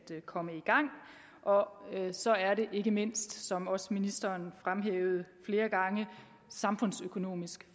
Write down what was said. komme i gang og så er det ikke mindst som også ministeren fremhævede flere gange samfundsøkonomisk